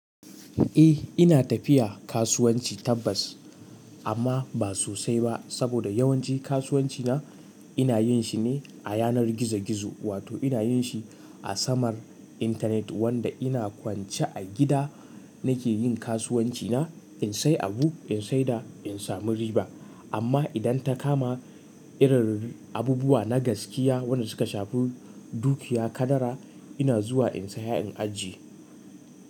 Eh ina tafiya kasuwanci tabbas amma ba sosai ba saboda yawanci kasuwanci na ina yin shi ne a yanar gizo-gizo wato ina yin shi a samar internet wanda ina kwance a gida nake yin kasuwanci na in sai abu in saida in samu riba. Amma idan ta kama irin abubuwa na gaskiya wanda suka shafi dukiya, kadara, ina zuwa in saya in ajiye.